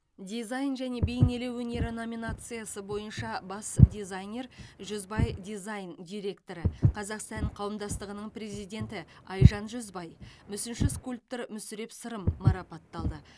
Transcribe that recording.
дизайн және бейнелеу өнері номинациясы бойынша бас дизайнер жүзбай дизайн директоры қазақ сән қауымдастығыны президенті айжан жүзбай мүсінші скульптор мүсіреп сырым марапатталды